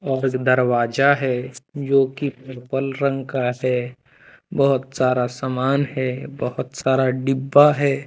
और दरवाजा है। जोकि पीपल रंग का है। बहुत सारा सामान है। बहुत सारा डिब्बा है।